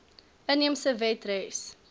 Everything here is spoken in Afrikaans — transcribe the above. inheemse wet res